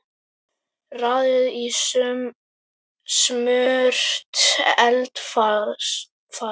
Raðið í smurt eldfast mót.